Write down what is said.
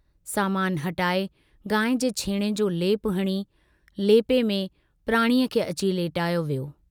सामान हटाए गांइ जे छेणे जो लेपो हणी, लेपे में प्राणीअ खे अची लेटायो वियो।